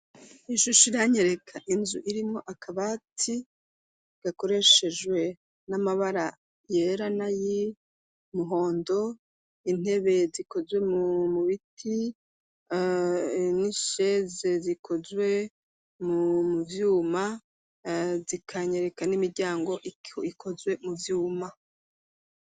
Ishusho iranyereka inzu irimo akabati gakoreshejwe n'amabara yera na y'umuhondo intebe zikozwe mu biti n'isheze zikozwe mu vyuma zikanyereka n'imiryango ikozwe mu vyuma.